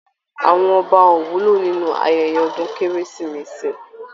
Àwọn ọba ò wúlò nínú ayẹyẹ ọdún kérésìmesì